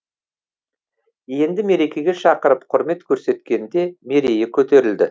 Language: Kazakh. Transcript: енді мерекеге шақырып құрмет көрсеткенде мерейі көтерілді